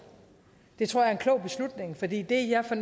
det tror jeg